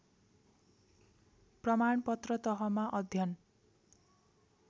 प्रमाणपत्र तहमा अध्ययन